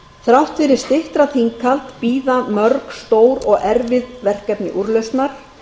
þrátt fyrir styttra þinghald bíða mörg stór og erfið verkefni úrlausnar